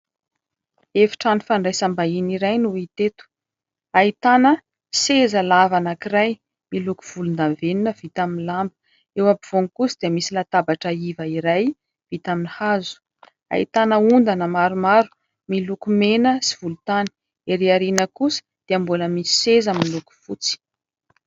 Efi-trano fandraisam-bahiny iray no hita eto. Ahitana seza lava anankiray miloko volondavenona vita amin'ny lamba. Eo ampovoany kosa dia misy latabatra iva iray vita amin'ny hazo, ahitana ondana maromaro miloko mena sy volontany. Ery aoriana kosa dia mbola misy seza miloko fotsy.